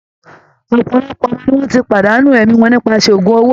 Òpòlopò ọmọ ni wọ́n ti pàdánù ẹ̀mí wọn nípasẹ̀ ògún owó